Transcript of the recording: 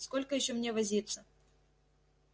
сколько ещё мне возиться